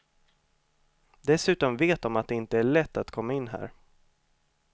Dessutom vet de att det inte är lätt att komma in här.